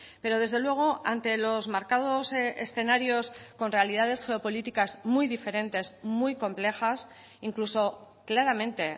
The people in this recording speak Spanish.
pero desde luego ante los marcados escenarios con realidades geopolíticas muy diferentes muy complejas incluso claramente